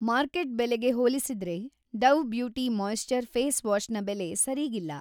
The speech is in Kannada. ಮಾರ್ಕೆಟ್‌ ಬೆಲೆಗೆ ಹೋಲಿಸಿದ್ರೆ Dove beauty moisture face wash ನ ಬೆಲೆ ಸರೀಗಿಲ್ಲ.